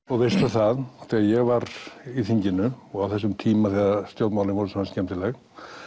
og veistu það þegar ég var í þinginu og á þessum tíma þegar stjórnmálin voru svona skemmtileg